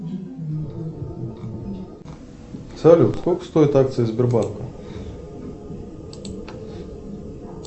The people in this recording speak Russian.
салют сколько стоят акции сбербанка